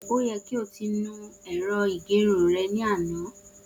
O yẹ ki o ti nu irun ẹ̀rọ ìgẹrun rẹ ni ana!